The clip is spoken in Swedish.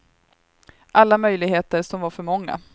Alla möjligheter som var för många.